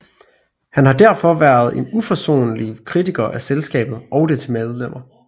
Han har derfor været en uforsonlig kritiker af selskabet og dets medlemmer